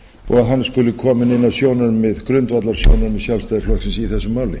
og að hann skuli kominn inn á grundvallarsjónarmið sjálfstæðisflokksins í þessu máli